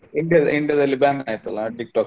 India India ದಲ್ಲಿ ban ಆಯ್ತಲ್ಲಾ TikTok .